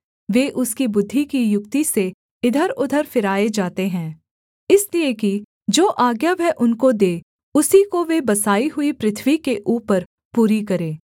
वे उसकी बुद्धि की युक्ति से इधरउधर फिराए जाते हैं इसलिए कि जो आज्ञा वह उनको दे उसी को वे बसाई हुई पृथ्वी के ऊपर पूरी करें